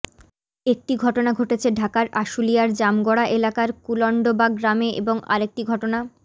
একটি ঘটনা ঘটেছে ঢাকার আশুলিয়ার জামগড়া এলাকার কুলন্ডবাগ গ্রামে এবং আরেকটি ঘটনা